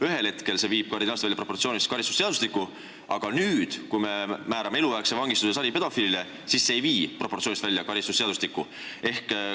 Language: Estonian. Ühel hetkel leitakse, et see viib karistusseadustiku proportsioonist välja, aga nüüd, kui me määrame saripedofiilile eluaegse vangistuse, siis see ei vii.